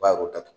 Bayɛrɛw datugu